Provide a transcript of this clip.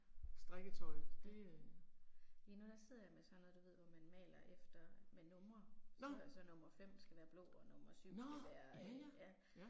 Strikketøjet, det øh. Nåh. Nåh, ja ja, ja